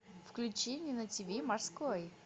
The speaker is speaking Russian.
включи мне на ти ви морской